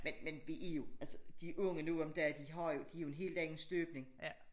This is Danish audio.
Men men vi jo altså de unge nu om dage de har jo de er jo en helt anden støbning